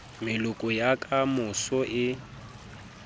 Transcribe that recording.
meloko ya ka moso e